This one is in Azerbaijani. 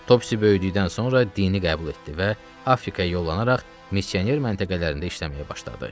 Topsis böyüdükdən sonra dini qəbul etdi və Afrikaya yollanaraq missioner məntəqələrində işləməyə başladı.